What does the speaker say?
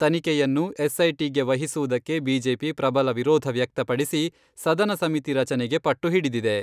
ತನಿಖೆಯನ್ನು ಎಸ್.ಐ.ಟಿ ಗೆ ವಹಿಸುವುದಕ್ಕೆ ಬಿಜೆಪಿ ಪ್ರಬಲ ವಿರೋಧ ವ್ಯಕ್ತಪಡಿಸಿ, ಸದನ ಸಮಿತಿ ರಚನೆಗೆ ಪಟ್ಟು ಹಿಡಿದಿದೆ.